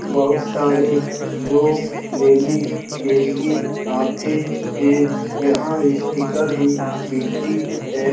बहुत सारे लोग लेने के लिए आते हैं यहाँ स्टीकर भी बिकती है।